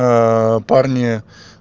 парни